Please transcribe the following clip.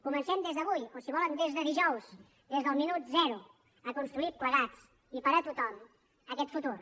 comencem des d’avui o si ho volen des de dijous des del minut zero a construir plegats i per a tothom aquest futur